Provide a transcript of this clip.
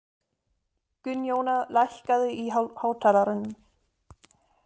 Gunnjóna, lækkaðu í hátalaranum.